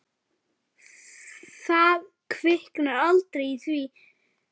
Það kviknar aldrei í því.